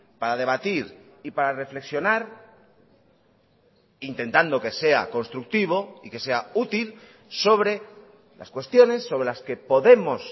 para debatir y para reflexionar intentando que sea constructivo y que sea útil sobre las cuestiones sobre las que podemos